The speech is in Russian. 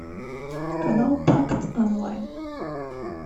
канал такт онлайн